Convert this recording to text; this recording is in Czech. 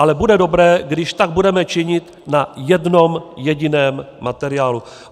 Ale bude dobré, když tak budeme činit na jednom jediném materiálu.